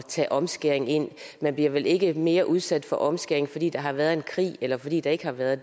tage omskæring ind man bliver vel ikke mere udsat for omskæring fordi der har været en krig eller fordi der ikke har været